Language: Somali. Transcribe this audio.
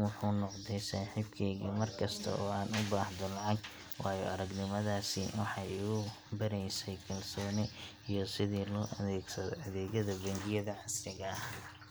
wuxuu noqday saaxiibkayga markasta oo aan u baahdo lacag. Waayo-aragnimadaasi waxay igu baraysay kalsooni iyo sida loo adeegsado adeegyada bangiyada casriga ah.